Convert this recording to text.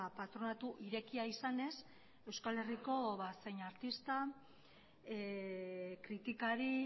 patronatu irekia izanez euskal herriko zein artista kritikari